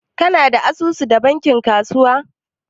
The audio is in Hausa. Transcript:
kana da asusu da bankin kasuwanci?